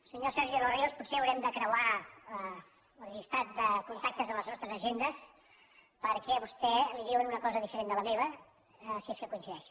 senyor sergi de los ríos potser haurem de creuar el llistat de con·tactes de les nostres agendes perquè a vostè li diuen una cosa diferent de la meva si és que coincideix